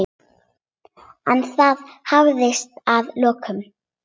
En það hafðist að lokum.